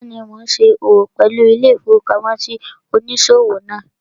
Bẹ́ẹ̀ni, mo n ṣe òwò pẹ̀lú ilé-ìfowópamósí òníṣòwò náà